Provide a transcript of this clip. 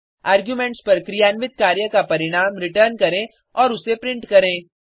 arguments पर क्रियान्वित कार्य का परिणाम रिटर्न करें और उसे प्रिंट करें